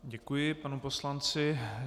Děkuji panu poslanci.